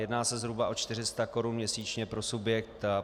Jedná se zhruba o 400 korun měsíčně pro subjekt.